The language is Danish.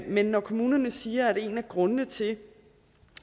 men når kommunerne siger at en af grundene til